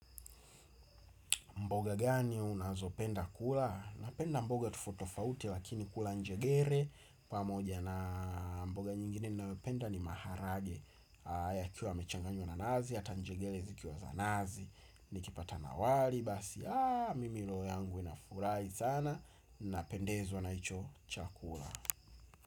Mboga gani unazopenda kula? Napenda mboga tofauti tofauti lakini kula njegere. Pamoja na mboga nyingine nayopenda ni maharage yakiwa yamechanganywa na nazi, hata njegere zikiwa za nazi. Nikipata na wali basi, aaa mimi roho yangu inafurahi sana. Napendezwa na hicho chakula.